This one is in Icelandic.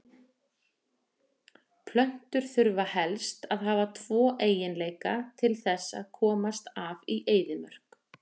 Plöntur þurfa helst að hafa tvo eiginleika til þess að komast af í eyðimörk.